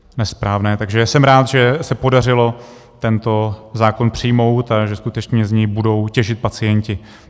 Takže jsem rád, že se podařilo tento zákon přijmout a že skutečně z něj budou těžit pacienti.